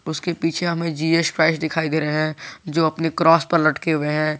उसके पीछे हमें जीएस क्राइस्ट दिखाई दे रहे हैं जो अपने क्रॉस पे लटके हुए हैं।